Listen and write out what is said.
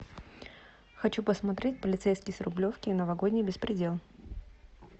хочу посмотреть полицейский с рублевки новогодний беспредел